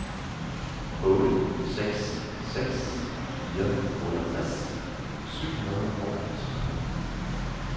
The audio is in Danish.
otte seks seks fire otteogtres syv hundrede og tretten